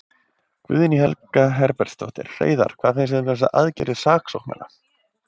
Guðný Helga Herbertsdóttir: Hreiðar, hvað finnst þér um þessar aðgerðir saksóknara?